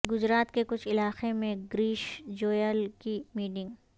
گجرات کے کچھ علاقے میں گریش جویال کی میٹنگ